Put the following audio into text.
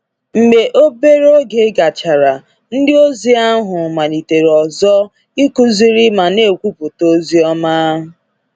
Mgbe obere oge gachara, ndịozi ahụ malitere ọzọ “ịkụziri ma na-ekwupụta ozi ọma.”